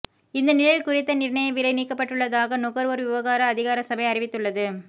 இந்த நிலையில் குறித்த நிர்ணய விலை நீக்கப்பட்டுள்ளதாக நுகர்வோர் விவகார அதிகார சபை அறிவித்துள்ளது